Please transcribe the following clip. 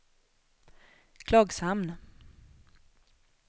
Klagshamn